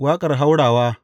Waƙar haurawa.